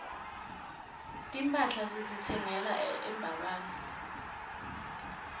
timphahla sititsenga embabane